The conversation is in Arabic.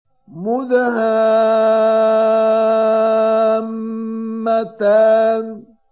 مُدْهَامَّتَانِ